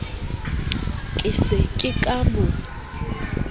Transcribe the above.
ke se ke ka mo